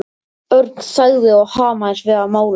Örn þagði og hamaðist við að mála.